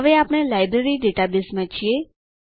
હવે આપણે લાઈબ્રેરી ડેટાબેઝમાં છીએ